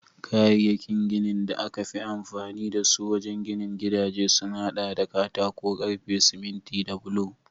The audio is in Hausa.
Kayayyakin ginin da aka fi amfani da su wajen ginin gidaje sun hada da katako, karfe, siminti da bulo